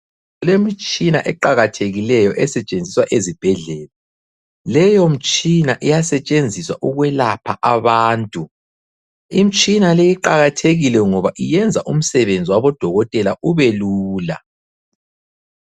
Kulemitshina eqakathekileyo esetshenziswa ezibhedlela, leyo mitshina iyasetshenziswa ukwelapha abantu. Imitshina leyi iqakathekile ngoba yenza umsebenzi wabodokotela ube lula.